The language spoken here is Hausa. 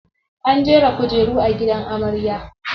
Ana jera kujeru a gidan amarya.